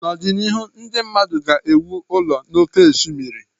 N'ọdịnihu ndị mmadụ ga-ewu ụlọ n'oké osimiri